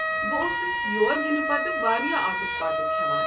بہٕ اوسس یور یِنہٕ پتہٕ واریاہ آٹُک پاٹُک کھٮ۪وان۔